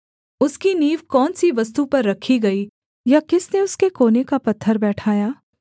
उसकी नींव कौन सी वस्तु पर रखी गई या किसने उसके कोने का पत्थर बैठाया